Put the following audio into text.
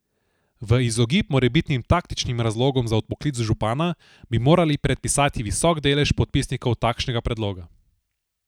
V izogib morebitnim taktičnim razlogom za odpoklic župana, bi morali predpisati visok delež podpisnikov takšnega predloga.